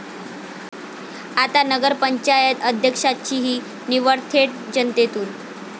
आता नगर पंचायत अध्यक्षाचीही निवड थेट जनतेतून!